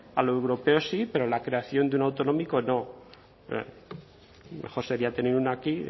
a lo europeo sí pero a la creación de un autonómico no mejor sería tener uno aquí